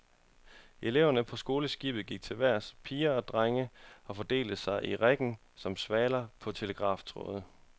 Eleverne på skoleskibet gik til vejrs, piger og drenge, og fordelte sig i riggen som svaler på telegraftråde.